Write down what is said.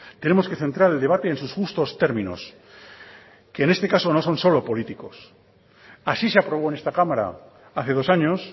tenemos que centrar el debate en sus justos términos que en este caso no son solo políticos así se aprobó en esta cámara hace dos años